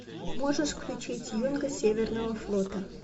можешь включить юнга северного флота